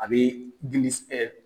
A bɛ gilisi